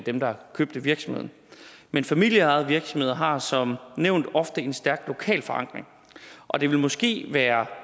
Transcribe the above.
dem der købte virksomheden men familieejede virksomheder har som nævnt ofte en stærk lokal forankring og det vil måske være